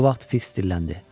Bu vaxt Fiks dilləndi: